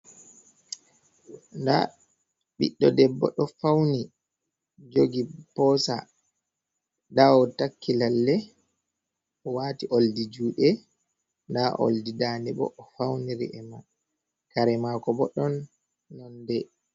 Da ɓiɗdo debbo do fauni jogi posa dawo takki lalle.o wati oldi jude da oldi dane bo o fauniri e ma kare mako bo ɗon nonde.